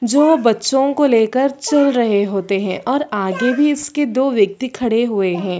जो बच्चो को लेकर चल रहे होते है और आगे भी इसके दो व्यक्ति खडे हुए है।